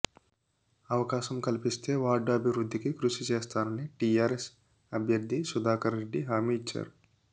అవకాశం కల్పిస్తే వార్డు అభివృద్ధికి కృషి చేస్తానని టీఆర్ఎస్ అభ్యర్థి సుధాకర్రెడ్డి హామీ ఇచ్చారు